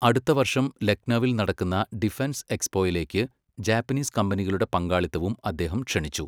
അടുത്ത വർഷം ലക്നൗവിൽ നടക്കുന്ന ഡിഫൻസ് എക്സ്പോയിലേക്ക് ജാപ്പനീസ് കമ്പനികളുടെ പങ്കാളിത്തവും അദ്ദേഹം ക്ഷണിച്ചു.